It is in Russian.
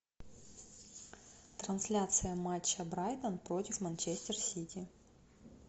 трансляция матча брайтон против манчестер сити